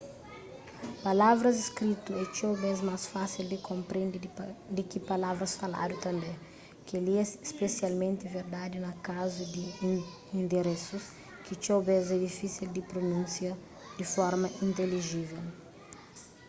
palavras skritu é txeu bês más fásil di konprende di ki palavras faladu tanbê kel-li é spesialmenti verdadi na kazu di inderesus ki txeu bês é difísil di prununsia di forma intelijível